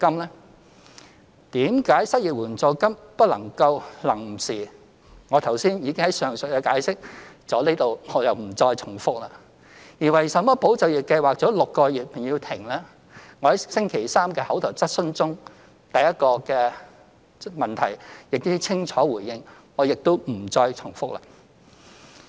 為甚麼失業援助金不能夠"臨時"，我已經在上文詳細解釋，在此不重複了；而為甚麼"保就業"計劃做6個月便要停，我在昨日的口頭質詢中第一項質詢亦已清楚回應，我亦不再重複。